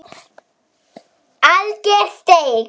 Alger steik